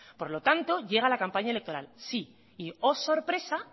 por lo tanto llega la campaña electoral sí y sorpresa